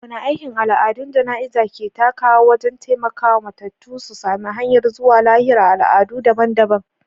Wane aiki al’adun jana’iza ke takawa wajen taimaka wa matattu su sami hanyar zuwa lahira a al’adu dabam-dabam?